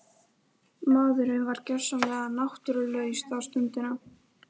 Maðurinn var gjörsamlega náttúrulaus þá stundina.